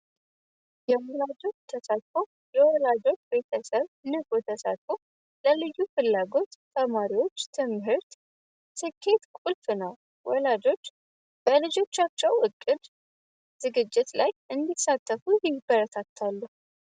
የወላጆች ተሳትፎ የወላጆች ቤተሰብ ንቁ ተሳትፎ ለልዩ ፍላጎት ተማሪዎች ትምህርት ስኬት ቁልፍ ነው ወላጆች በልጆቻቸው እቅድ ዝግጅት ላይ እንዲሳተፉ ይበረታታሉ።